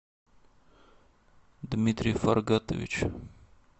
дмитрий фаргатович